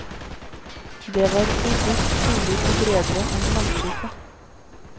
Det var robust, solid og bredere enn langskipet.